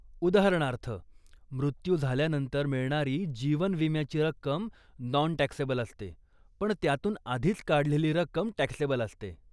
उदाहरणार्थ, मृत्यू झाल्यानंतर मिळणारी जीवन विम्याची रक्कम नॉन टॅक्सेबल असते, पण त्यातून आधीच काढलेली रक्कम टॅक्सेबल असते.